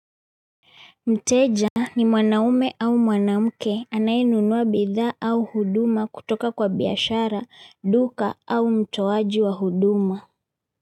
Mteja ni mwanaume au mwanamke anayenunuwa bidhaa au huduma kutoka kwa biashara, duka au mtoaji wa huduma.